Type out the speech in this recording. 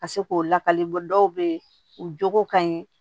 Ka se k'o lakale bɔ dɔw bɛ ye u jogo ka ɲi